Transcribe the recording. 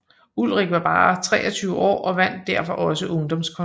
Ullrich var bare 23 år og vandt derfor også ungdomskonkurrencen